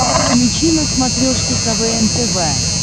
включи на смотрешке квн тв